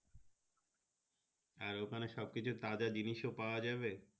আর ওখানে সবকিছু তাজা জিনিস ও পাওয়া যাবে।